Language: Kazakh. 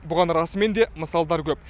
бұған расымен де мысалдар көп